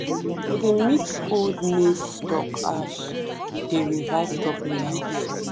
to dey mix old maize stalk ash dey revive top layer of soil.